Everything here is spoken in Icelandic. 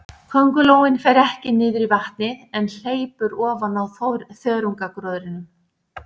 Köngulóin fer ekki niður í vatnið, en hleypur ofan á þörungagróðrinum.